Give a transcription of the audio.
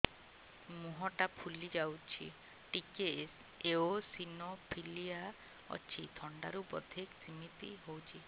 ମୁହଁ ଟା ଫୁଲି ଯାଉଛି ଟିକେ ଏଓସିନୋଫିଲିଆ ଅଛି ଥଣ୍ଡା ରୁ ବଧେ ସିମିତି ହଉଚି